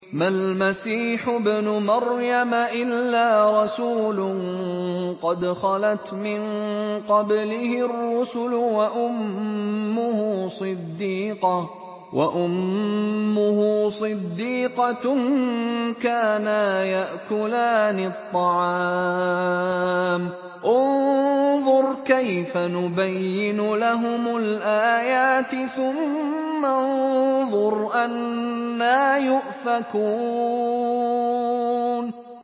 مَّا الْمَسِيحُ ابْنُ مَرْيَمَ إِلَّا رَسُولٌ قَدْ خَلَتْ مِن قَبْلِهِ الرُّسُلُ وَأُمُّهُ صِدِّيقَةٌ ۖ كَانَا يَأْكُلَانِ الطَّعَامَ ۗ انظُرْ كَيْفَ نُبَيِّنُ لَهُمُ الْآيَاتِ ثُمَّ انظُرْ أَنَّىٰ يُؤْفَكُونَ